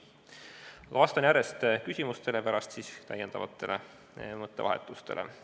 Kõigepealt vastan järjest küsimustele ja pärast osalen täiendavates mõttevahetustes.